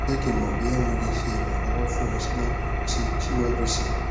jẹ ki n mọ boya mo le ṣe iranlọwọ fun ọ siwaju sii siwaju sii